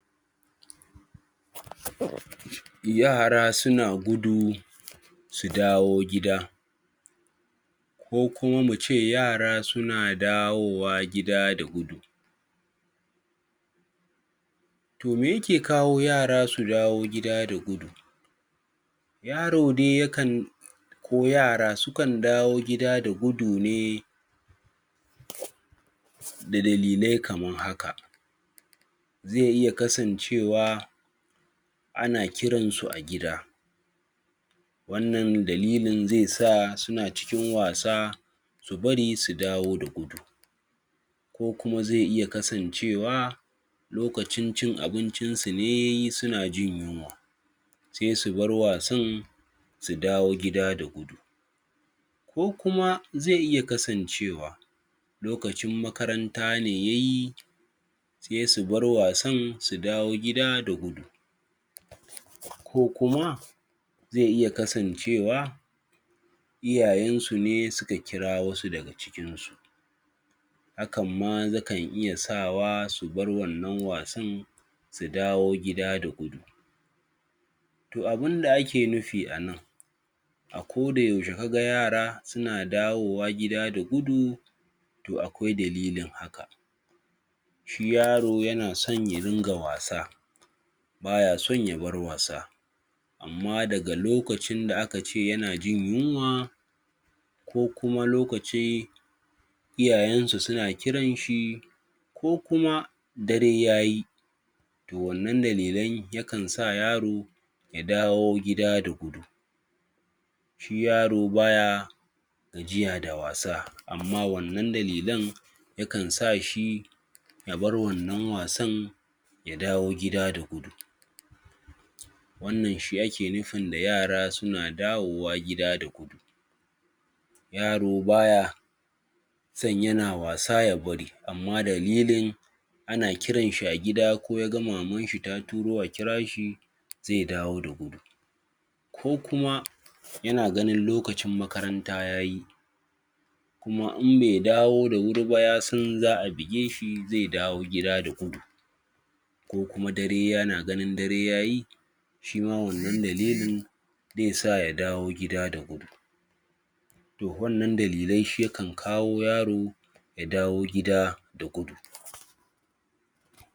yara suna gudu su dawo gida ko kuma muce yara suna dawowa gida da gudu to me yake kawo yara su dawo gida da gudu yaro dai yakan ko yara sukan dawo gida da gudu ne da dalilai kaman haka ze iya kasan cewa ana kiran su a gida wannan dalilin ze sa suna cikin wasa su bari su dawo da gudu ko kuma ze iya kasan cewa lokacin cin abincisu ne yayi suna jin yunwa sai su bar wasan su dawo gida da gudu ko kuma ze iya kasancewa lokacin makaranta ne yayi sai su bar wasan su dawo gida da gudu kokuma ze iya kasancewa iyayensu ne suka kirawosu daga cikinsu hakanma yakan iya sawa su bar wannan wasan su dawo gida da gudu toh abinda ake nufi a nan a kodayaushe kaga yara suna dawowa gida da gudu to akwai dalilin haka shi yaro yana san ya ringa wasa baya san ya bar wasa amma daga lokacin da akace yana gin yunwa kokuma lokaci iyayensa suna kiran shi kokuma dare yaye to wannan dalilai yakan sa yaro ya dawo gida da gudu shi yaro baya gajiya da wasa amma wannan dalilan yakan sashi ya bar wannan wasan ya dawo gida da gudu wannan shi aki nufin da yara suna dawowa gida da gudu yaro baya san yana wasa ya bari amma dalilin ana kiranshi a gida ko ya ga mamanshi ta turo a kirashi ze dawo da gudu ko kuma yan ganin lokaccin makaranta yayi kuma inbe dawo dawuri ba ya san za'a bigeshi zai dawo gida da gudu ko kuma dare yana ganin dare yayi shima wannan dalilin ze sa ya dawo gida da gudu to wannan dalilai shi yakan kawo yaro ya dawo gida da gudu